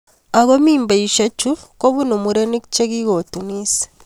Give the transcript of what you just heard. Aku mimbaishe chu kobunu mureniik che kukutunis